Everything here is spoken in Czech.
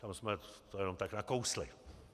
Tam jsme to jenom tak nakousli.